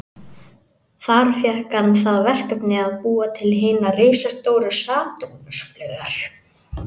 Þar fékk hann það verkefni að búa til hinar risastóru Satúrnus-flaugar.